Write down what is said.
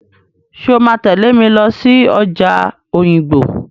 Ṣé o máa tẹ̀lé mi lọ sí ọjà Òyìngbò?